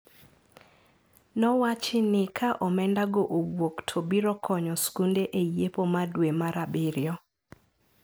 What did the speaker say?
Nowachi ni ka omenda go owuok to biro konyo skunde e yepo ma dwe mar abirio.